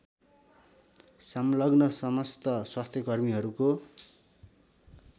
संलग्न समस्त स्वास्थ्यकर्मीहरूको